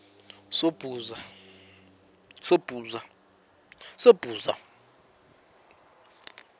sobhuza